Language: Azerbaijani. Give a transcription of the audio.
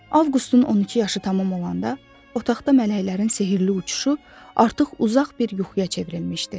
Avqustun 12 yaşı tamam olanda, otaqda mələklərin sehrli uçuşu artıq uzaq bir yuxuya çevrilmişdi.